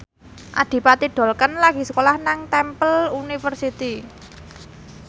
Adipati Dolken lagi sekolah nang Temple University